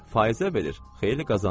Fayizə verir, xeyli qazanıb.